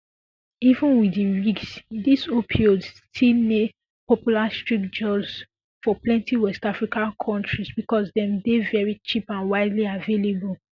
even wit di risks dis opioids still ne popular street drugs for plenti west african kontris becos dem dey very cheap and widely available